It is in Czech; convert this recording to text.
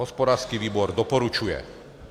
Hospodářský výbor doporučuje.